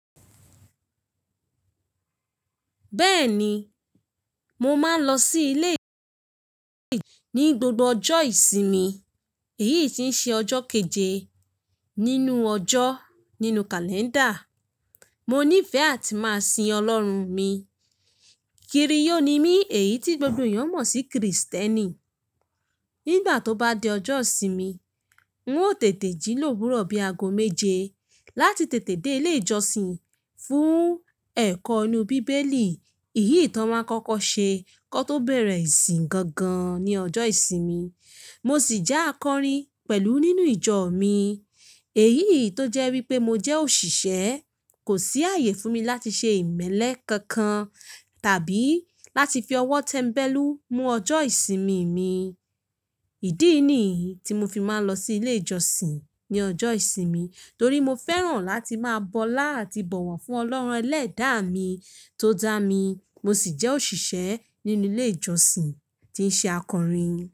Bẹ́ẹ̀ni, mo máa ń lọ sí ilé ìjọsìn ní gbogbo ọjọ́ ìsinmi, èyí tí ń ṣe ọjọ́ keje nínú ọjọ́ nínú kàlẹ́ndà. Mo ní ìfẹ́ àti máa sin Ọlọ́run mi, kiri ó ni mí èyí tí gbogbo èèyàn mọ̀ sí Krìstẹ́nì. Nígbà tó bá di ọjọ́ ìsinmi, n ó tètè jí lòwúrọ̀ bí aago méje láti tètè dé ilé ìjọsìn fún ẹ̀kọ́ inú bíbélì, ìyí tí wọ́n máa ń kọ́kọ́ ṣe kọ tó bẹ̀rẹ̀ ìsìn gangan ní ọjọ́ ìsinmi. Mo sì jẹ́ akọrin pẹ̀lú nínú ìjọ mi, èyí tó jẹ́ wípé mo jẹ́ òṣìṣẹ́ kò sí ààyè fún mi láti ṣe ìmẹ́lẹ́ kankan tàbí láti fi ọwọ́ tẹ́ńbẹ́lú mú ọjọ́ ìsinmi mi. Ìdí nìyí tí mo fi máa ń lọ sí ilé ìjọsìn ní ọjọ́ ìsinmi torí mo fẹ́ràn láti máa bọlá àti bọ̀wọ̀ fún Ọlọ́run ẹlẹ́dàá mi tó dá mi. Mo sì jẹ́ òṣìṣẹ́ nínú ilé ìjọsìn tí ń ṣe akọrin.